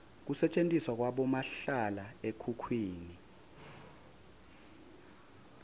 kusetjentiswa kwabomahlala ekhukhwini